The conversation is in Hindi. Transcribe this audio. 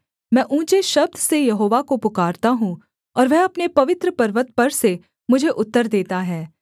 मैं ऊँचे शब्द से यहोवा को पुकारता हूँ और वह अपने पवित्र पर्वत पर से मुझे उत्तर देता है सेला